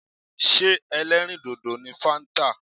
Ṣé ẹlẹ́rìì dòdò ni fáńtà.